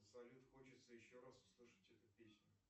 салют хочется еще раз услышать эту песню